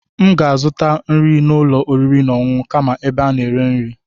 M ga-azụta nri n'ụlọ oriri na ọṅụṅụ kama ebe a na-eri nri.